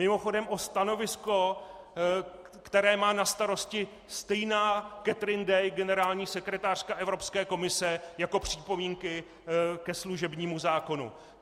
Mimochodem o stanovisko, které má na starosti stejná Catherine Day, generální sekretářka Evropské komise, jako připomínky ke služebnímu zákonu.